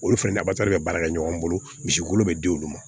Olu fɛnɛ bɛ baara kɛ ɲɔgɔn bolo misi wolo bɛ di olu ma